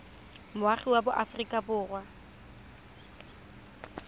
moagi wa aforika borwa ka